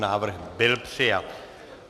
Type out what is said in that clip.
Návrh byl přijat.